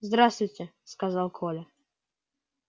здравствуйте сказал коля